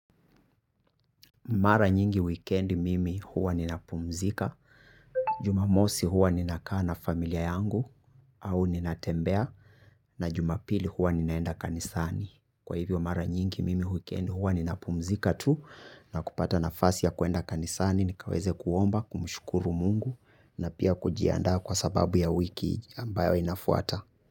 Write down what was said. Mara nyingi wikendi mimi huwa ninapumzika, jumamosi huwa ninakaa na familia yangu au ninatembea na jumapili huwa ninaenda kanisani. Kwa hivyo mara nyingi mimi wikendi huwa ninapumzika tu na kupata nafasi ya kwenda kanisani nikaweze kuomba, kumshukuru mungu na pia kujiandaa kwa sababu ya wiki ambayo inafuata.